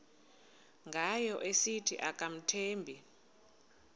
ngayo esithi akamthembi